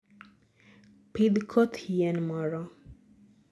pidh koth yien moro